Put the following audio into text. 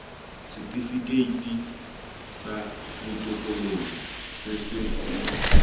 setifikeiti sa botokololo se se